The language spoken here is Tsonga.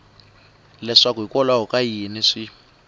leswaku hikwalaho ka yini swi